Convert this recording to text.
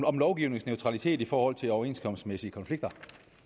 om lovgivningens neutralitet i forhold til overenskomstmæssige konflikter